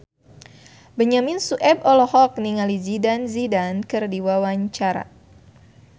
Benyamin Sueb olohok ningali Zidane Zidane keur diwawancara